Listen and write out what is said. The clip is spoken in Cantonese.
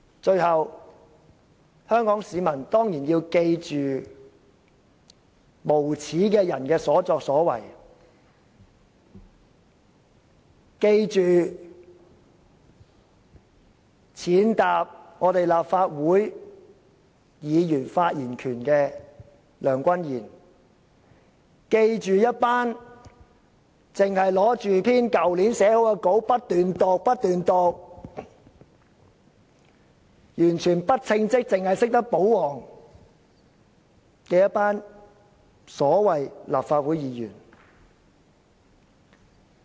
最後，香港市民當然要記住無耻的人的所作所為，記住踐踏立法會議員發言權的梁君彥，記住一群只懂拿着去年撰寫的講稿不斷照讀，完全不稱職，只懂保皇的所謂立法會議員。